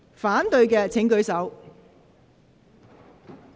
反對的請舉手。